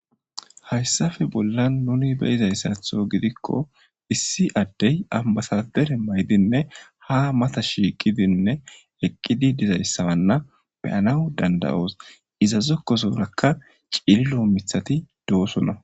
Hayssape bollan nuni be7izayssaththo gidikko , issi adde ambbasadare mayidinne ha mata shiiqidinne eqqidi dizayssa be7anas danda7os Iza zokkosorakka cililo miththati de7osona.